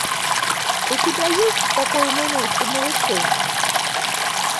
у тебя есть спокойной ночи малыши